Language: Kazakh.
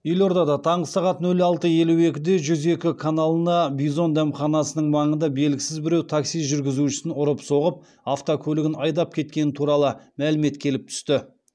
елордада таңғы сағат нөл алты елу екіде жүз екі каналына бизон дәмханасының маңында белгісіз біреу такси жүргізушісін ұрып соғып автокөлігін айдап кеткені туралы мәлімет келіп түсті